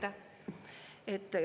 Aitäh!